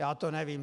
Já to nevím.